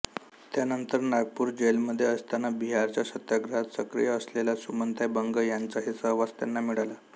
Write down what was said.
त्यानंतर नागपूर जेलमध्ये असताना बिहारच्या सत्याग्रहात सक्रिय असलेल्या सुमनताई बंग यांचाही सहवास त्यांना मिळाला